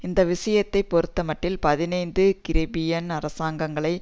இந்த விஷயத்தை பொறுத்தமட்டில் பதினைந்து கரிபியன் அரசாங்கங்களை